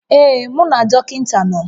Ee, mụ na dọkịta nọ